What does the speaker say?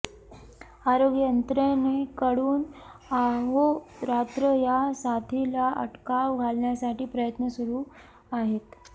आरोग्य यंत्रणेकडून अहोरात्र या साथीला अटकाव घालण्यासाठी प्रयत्न सुरू आहेत